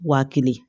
Waa kelen